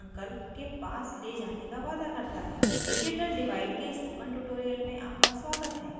suresh ramu से school के बाद उसको दन्त चिकित्सक अंकल के पास ले जाने का वादा करता है